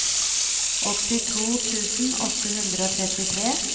åttito tusen åtte hundre og trettitre